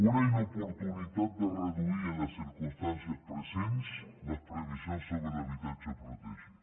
una inoportunitat de reduir en les circumstàncies presents les previsions sobre l’habitatge protegit